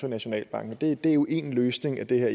nationalbanken men det er jo én løsning af det her